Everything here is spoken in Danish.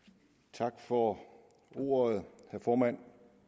tak for ordet herre formand